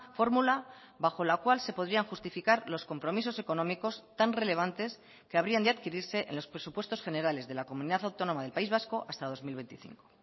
fórmula bajo la cual se podrían justificar los compromisos económicos tan relevantes que habrían de adquirirse en los presupuestos generales de la comunidad autónoma del país vasco hasta dos mil veinticinco